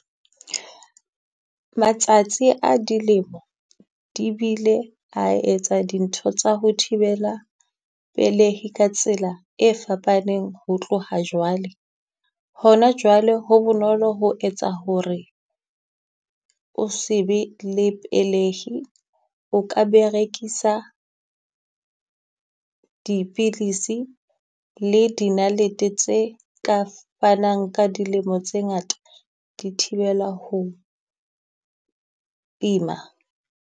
Matsatsi a dilemo di bile a etsa dintho tsa ho thibela pelehi ka tsela e fapaneng ho tloha jwale. Hona jwale ho bonolo ho etsa ho re o se be le pelehi, o ka berekisa dipilisi le di nalete tse ka fanang ka dilemo tse ngata di thibela ho ima.